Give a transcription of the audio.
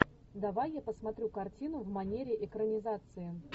давай я посмотрю картину в манере экранизации